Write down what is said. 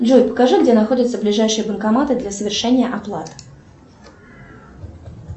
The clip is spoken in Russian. джой покажи где находятся ближайшие банкоматы для совершения оплат